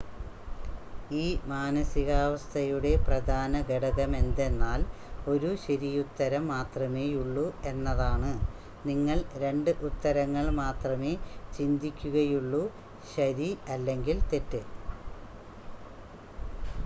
ഈ മാനസികാവസ്ഥയുടെ പ്രധാന ഘടകമെന്തെന്നാൽ ഒരു ശരിയുത്തരം മാത്രമേയുള്ളു എന്നതാണ് നിങ്ങൾ രണ്ട് ഉത്തരങ്ങൾ മാത്രമേ ചിന്തിക്കുകയുള്ളു ശരി അല്ലെങ്കിൽ തെറ്റ്